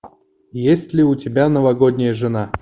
есть ли у тебя новогодняя жена